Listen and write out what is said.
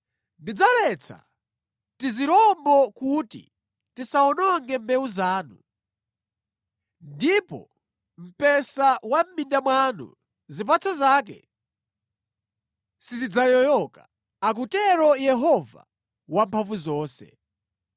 Ndidzaletsa tizirombo kuti tisawononge mbewu zanu, ndipo mpesa wa mʼminda mwanu zipatso zake sizidzayoyoka,” akutero Yehova Wamphamvuzonse.